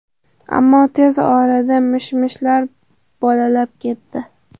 Ammo tez orada mish-mishlar bolalab ketdi.